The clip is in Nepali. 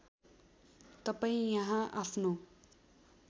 तपाईँ यहाँ आफ्नो